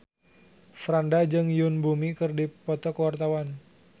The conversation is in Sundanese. Franda jeung Yoon Bomi keur dipoto ku wartawan